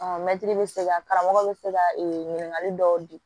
mɛtiri bɛ se ka karamɔgɔ bɛ se ka e ɲininkali dɔw di